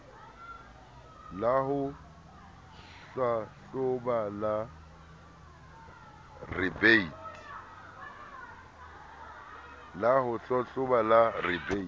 la ho hlahloba la rebate